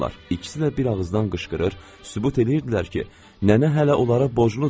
İkisi də bir ağızdan qışqırır, sübut eləyirdilər ki, nənə hələ onlara borcludu.